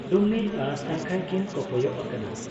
ᱰᱩᱢᱱᱤ ᱟᱨ ᱥᱟᱹᱝᱠᱷᱟᱹᱭ ᱠᱤ ᱠᱚᱯᱚᱭᱚᱜ ᱟᱠᱟᱱᱟ ᱾